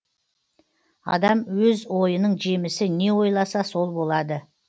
адам өз ойының жемісі не ойласа сол болады